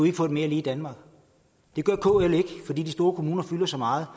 ikke få et mere lige danmark det gør kl ikke fordi de store kommuner fylder så meget